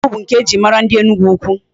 Ọzọmkpu bụ nke e ji mara ndị Enugwu-Ukwu.